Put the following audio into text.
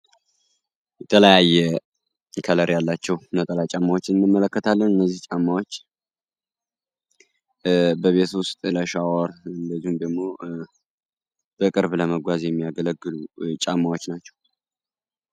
የተለያየ ቀለም ያላቸው ነጠላ ጫማዎች ይመለከታል። እነዚህ ጫማዎች በቤት ውስጥ ለሻወር እንደዚሁም ደግሞ በቅርብ ለመጓዝ የሚያገለግል ጫማዎች ናቸው።